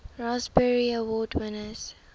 raspberry award winners